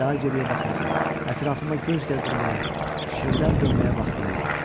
Daha geriyə baxmağa, ətrafıma göz gəzdirməyə, fikrimdən dönməyə vaxtım yoxdu.